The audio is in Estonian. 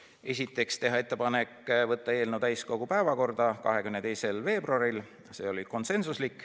Esiteks, teha ettepanek võtta eelnõu täiskogu päevakorda 22. veebruaril .